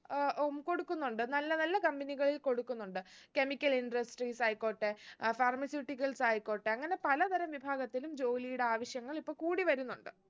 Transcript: ആഹ് ഉം കൊടുക്കുന്നുണ്ട് നല്ല നല്ല company കളിൽ കൊടുക്കുന്നുണ്ട് chemical industries ആയികോട്ടെ അഹ് pharmaceuticals ആയിക്കോട്ടെ അങ്ങനെ പലതരം വിഭാഗത്തിലും ജോലീടെ ആവശ്യങ്ങൾ ഇപ്പൊ കൂടി വരുന്നുണ്ട്